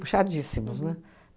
Puxadíssimos, né?